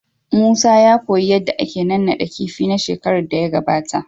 Musa ya koyi yadda ake naɗaɗɗan kifi na shekaran da ya gabata.